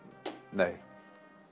nei